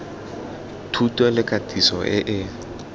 thuto le katiso e e